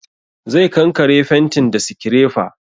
Zai kankare fentin da sikirefa